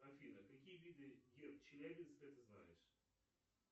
афина какие виды герб челябинска ты знаешь